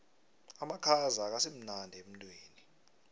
amakhaza akasimnandi emtwini